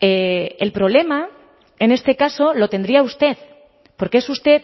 el problema en este caso lo tendría usted porque es usted